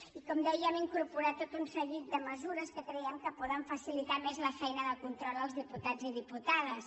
i com deia hem incorporat tot un seguit de mesures que creiem que poden facilitar més la feina de control als diputats i diputades